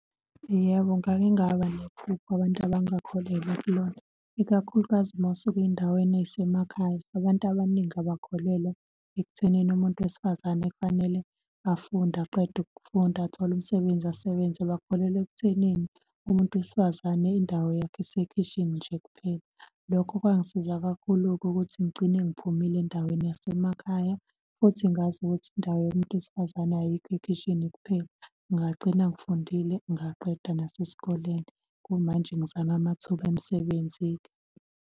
Yebo, ngake ngaba nephupho abantu abangakholelwa kulona, ikakhulukazi uma usuke ey'ndaweni ey'semakhaya. Abantu abaningi abakholelwa ekuthenini umuntu wesifazane kufanele afunde aqede ukufunda, athole umsebenzi, asebenze. Bakholelwa ekuthenini umuntu wesifazane indawo yakho isekhishini nje kuphela lokho kwangisiza kakhulu-ke ukuthi ngigcine ngiphumile endaweni yasemakhaya futhi ngazi ukuthi indawo yomuntu wesifazane ayikho ekhishini kuphela. Ngagcina ngifundile ngaqeda nasesikoleni. Kumanje ngizame amathuba emisebenzi-ke.